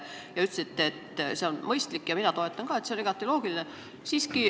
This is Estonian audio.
Te ütlesite, et see on mõistlik, ja mina toetan ka seda, see on igati loogiline.